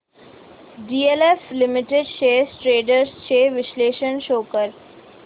DLF limited shares trends चे विश्लेषण show कर